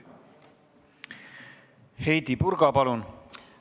Heidy Purga, palun!